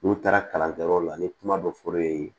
N'u taara kalan kɛ yɔrɔ la ni kuma dɔ fɔr'e ye